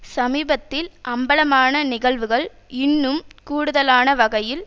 சமீபத்தில் அம்பலமான நிகழ்வுகள் இன்னும் கூடுதலான வகையில்